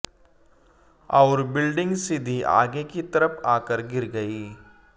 और बिल्डिंग सीधी आगे की तरफ आकर गिर गई